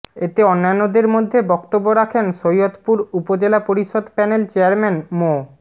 এতে অন্যান্যদের মধ্যে বক্তব্য রাখেন সৈয়দপুর উপজেলা পরিষদ প্যানেল চেয়ারম্যান মো